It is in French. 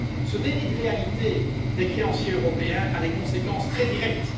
Ce déni de réalité des créanciers européens a des conséquences très directes.